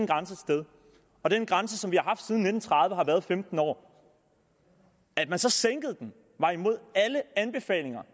grænse et sted og den grænse som vi har haft siden nitten tredive har været ved femten år at man så sænkede den var imod alle anbefalinger